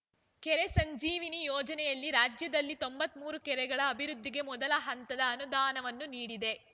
ಕೆರೆ ಸಂಜೀವಿನಿ ಯೋಜನೆಯಲ್ಲಿ ರಾಜ್ಯದಲ್ಲಿ ತೊಂಬತ್ತ್ ಮೂರು ಕೆರೆಗಳ ಅಭಿವೃದ್ಧಿಗೆ ಮೊದಲ ಹಂತದ ಅನುದಾನವನ್ನು ನೀಡಿದೆ